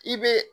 I bɛ